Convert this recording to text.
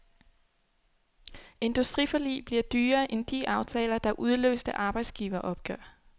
Industriforlig bliver dyrere end de aftaler, der udløste arbejdsgiveropgør.